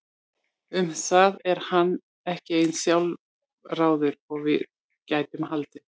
Um það er hann ekki eins sjálfráður og við gætum haldið.